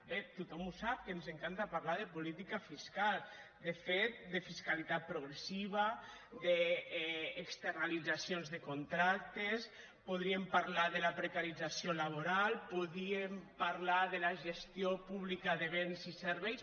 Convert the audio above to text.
bé tothom ho sap que ens encanta parlar de política fiscal de fet de fiscalitat progressiva d’externalitzacions de contractes podríem parlar de la precarització laboral podríem parlar de la gestió pública de béns i serveis